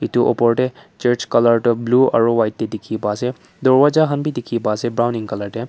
etu opor te church colour tu blue aru white te dekhi pai ase darvaza khan bhi dekhi pai ase browning colour te.